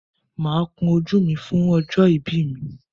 Máa kun ojú mi fún ọjọ́ ìbí mi.